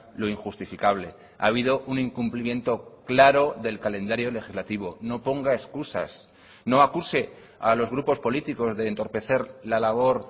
lo injustificable ha habido un incumplimiento claro del calendario legislativo no ponga excusas no acuse a los grupos políticos de entorpecer la labor